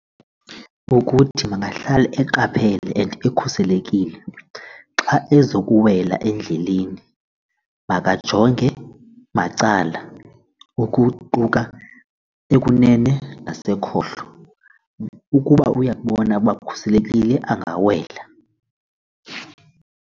Kukuthi makahlale eqaphele and ekhuselekile. Xa ezokuwela endleleni makajonge macala ukuquka ekunene nasekhohlo, ukuba uyakubona uba kukhuselekile angawela.